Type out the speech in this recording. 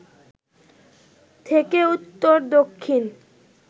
থেকে উত্তর দক্ষিণ